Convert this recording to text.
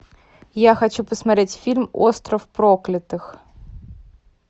я хочу посмотреть фильм остров проклятых